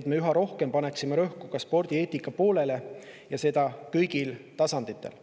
et me üha rohkem paneksime rõhku spordieetikale, ja seda kõigil tasanditel.